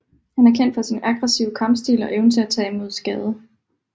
Han er kendt for sin aggressive kampstil og evne til at tage imod skade